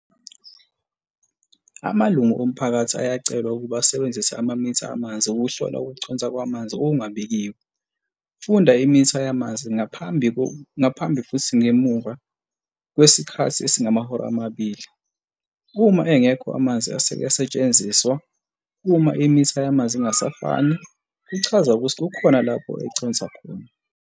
Amalungu omphakathi ayacelwa ukuba asebenzise amamitha amanzi ukuhlola ukuconsa kwamanzi okungabikiwe. Funda imitha yamanzi ngaphambi futhi ngemuva kwesikhathi esingamahora amabili, uma engekho amanzi aseke asetshenziswa. Uma imitha yamanzi ingasafani, kuchaza ukuthi kukhona lapho econsa khona.